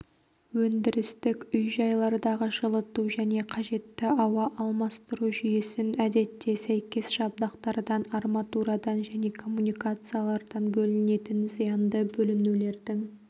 өндірістік үй-жайлардағы жылыту және қажетті ауа алмастыру жүйесін әдетте сәйкес жабдықтардан арматурадан және коммуникациялардан бөлінетін зиянды бөлінулердің